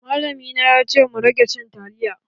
Malami na ya ce mu rage cin taliya.